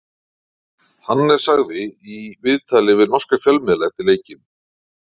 Hannes sagði í viðtali við norska fjölmiðla eftir leikinn: